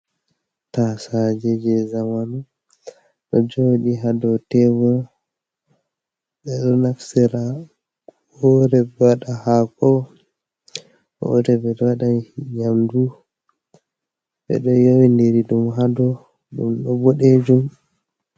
Tasaje je zamanu ɗo jooɗi ha dou tebul ɓeɗo naftira woore ɓe waɗa hako woore bo ɓe waɗa nyamdu ɓeɗo yowi diri ɗum ha dou ɗum ɗo boɗejum.